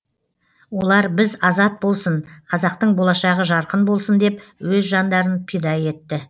олар біз азат болсын қазақтың болашағы жарқын болсын деп өз жандарын пида етті